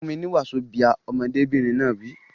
Fún mi ní wazobia! Ọmọdébìnrin náà wí.